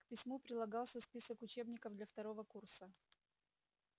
к письму прилагался список учебников для второго курса